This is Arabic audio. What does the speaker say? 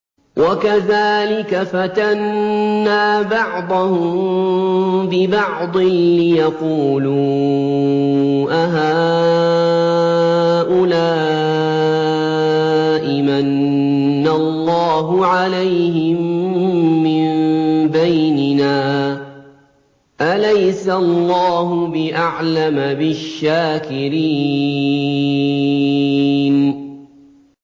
وَكَذَٰلِكَ فَتَنَّا بَعْضَهُم بِبَعْضٍ لِّيَقُولُوا أَهَٰؤُلَاءِ مَنَّ اللَّهُ عَلَيْهِم مِّن بَيْنِنَا ۗ أَلَيْسَ اللَّهُ بِأَعْلَمَ بِالشَّاكِرِينَ